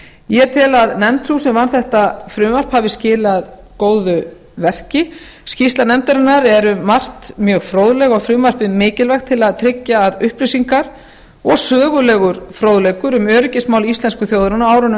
ég tel að nefnd sú sem vann þetta frumvarp hafi skilað góðu verki skýrsla nefndarinnar er um margt mjög fróðleg og frumvarpið mikilvægt til að tryggja að upplýsingar og sögulegur fróðleikur um öryggismál íslensku þjóðarinnar á árunum